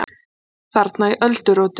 Þarna í öldurótinu!